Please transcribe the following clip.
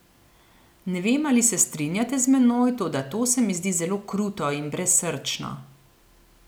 Ne vem, ali se strinjate z menoj, toda to se mi zdi zelo kruto in brezsrčno.